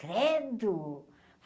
Credo.